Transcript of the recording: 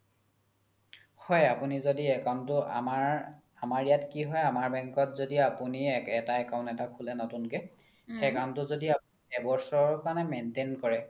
হয় আপোনি য্দি account তো আমাৰ, আমাৰ ইয়াত কি হয় আমাৰ bank ত য্দি আপোনি account এটা খুলে নতুনকে account তো যদি একবছৰ কাৰনে maintain কৰে